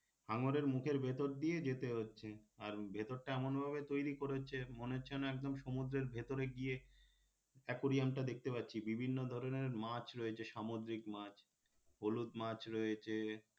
হাঙরের মুখের ভেতর দিয়ে যেতে হচ্ছে আর ভেতরটা এমনভাবে তৈরি করেছে মনে হচ্ছে যেন একদম সমুদ্রের ভেতরে গিয়ে aquarium টা দেখতে পাচ্ছি বিভিন্ন ধরনের মাছ রয়েছে সামুদ্রিক মাছ হলুদ মাছ রয়েছে